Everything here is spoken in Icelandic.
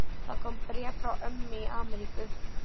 Það kom bréf frá ömmu í Ameríku.